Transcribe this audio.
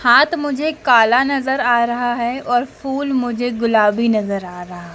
हाथ मुझे काला नजर आ रहा है और फूल मुझे गुलाबी नजर आ रहा --